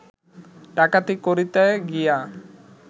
ডাকাতি করিতে গিয়া